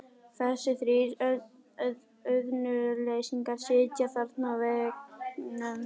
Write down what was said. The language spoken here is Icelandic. Þessir þrír auðnuleysingjar sitja þarna á veggnum.